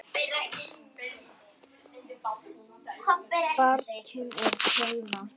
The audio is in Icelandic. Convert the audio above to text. Barkinn er keila.